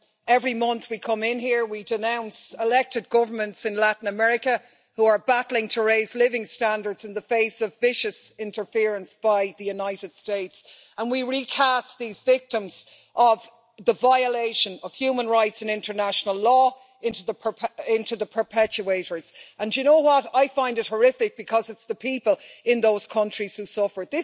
Every month we come in here, we denounce elected governments in Latin America who are battling to raise living standards in the face of vicious interference by the United States, and we recast these victims of the violation of human rights and international law as the perpetuators. I find it horrific because it's the people in those countries who suffer.